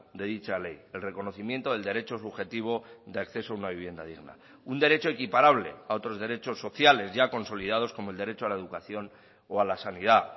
de dicha ley el reconocimiento del derecho subjetivo de acceso a una vivienda digna un derecho equiparable a otros derechos sociales ya consolidados como el derecho a la educación o a la sanidad